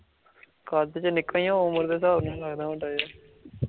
ਉਮਰ ਦੇ ਹਿਸਾਬ ਨਾਲ ਲੱਗਦਾ ਹੁੰਦਾ ਐ